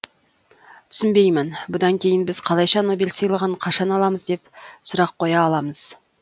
түсінбеймін бұдан кейін біз қалайша нобель сыйлығын қашан аламыз деп сұрақ қоя аламыз